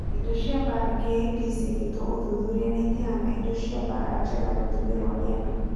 Indo cia mbara KIP ciekĩtwe ũdhudhuria na itĩhana indo cia mbara njega gũtũmĩrwa nĩ andũ.